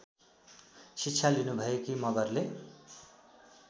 शिक्षा लिनुभएकी मगरले